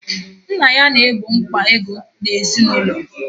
Nna ya na-egbo mkpa ego ezinụlọ.